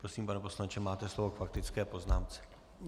Prosím, pane poslanče, máte slovo k faktické poznámce.